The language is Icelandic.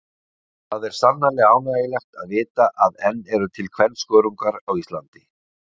Það er sannarlega ánægjulegt að vita að enn eru til kvenskörungar á Íslandi.